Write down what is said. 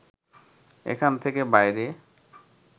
এখান থেকে বাইরে